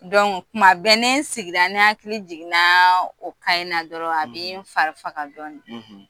Kuma bɛɛ ni n sigira ni n hakili jiginna o ka in na dɔrɔn, a bi n fari faga dɔɔni .